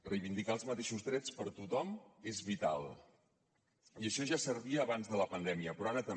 reivindicar els mateixos drets per a tothom és vital i això ja servia abans de la pandèmia però ara també